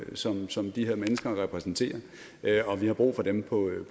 som som de her mennesker repræsenterer og vi har brug for dem på